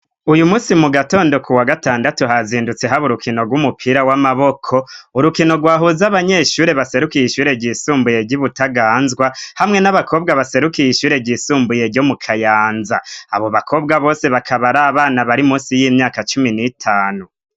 Uyu munsi mu gatondo kuwa gatandatu hazindutse habo urukino rw'umupira w'amaboko urukino rwahuza abanyeshure baserukiye ishure ryisumbuye ryibutaganzwa hamwe n'abakobwa baserukiye ishure ryisumbuye ryo mu Kayanza abo bakobwa bose bakaba ari abana bari munsi yimyaka cumi n'itanu.